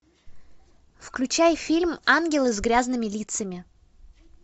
включай фильм ангелы с грязными лицами